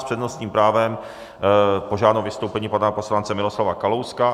S přednostním právem požádám o vystoupení pana poslance Miroslava Kalouska.